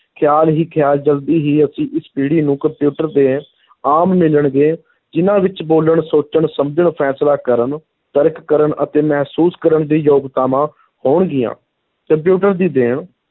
ਖ਼ਿਆਲ ਹੀ ਖ਼ਿਆਲ ਜਲਦੀ ਹੀ ਅਸੀਂ ਇਸ ਪੀੜੀ ਨੂੰ ਕੰਪਿਊਟਰ ਦੇ ਆਮ ਮਿਲਣਗੇ, ਜਿਨ੍ਹਾਂ ਵਿਚ ਬੋਲਣ, ਸੋਚਣ, ਸਮਝਣ, ਫ਼ੈਸਲਾ ਕਰਨ, ਤਰਕ ਕਰਨ ਅਤੇ ਮਹਿਸੂਸ ਕਰਨ ਦੀ ਯੋਗਤਾਵਾਂ ਹੋਣਗੀਆਂ, ਕੰਪਿਊਟਰ ਦੀ ਦੇਣ,